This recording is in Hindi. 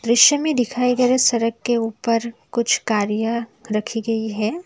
दृश्य में दिखाए गए सड़क के ऊपर कुछ कार्य रखी गई है।